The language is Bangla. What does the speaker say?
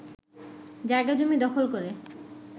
জায়গা-জমি দখল করে